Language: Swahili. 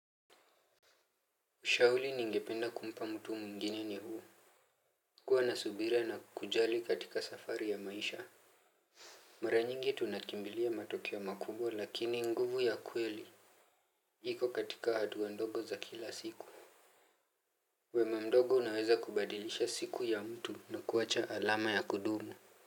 Ushauli ningependa kumpa mtu mwingine ni huu kuwa na subira na kujali katika safari ya maisha mara nyingi tunakimbilia matokeo makubwa lakini nguvu ya kweli iko katika hatuwa ndogo za kila siku wema mdogo unaweza kubadilisha siku ya mtu na kuwacha alama ya kudumu.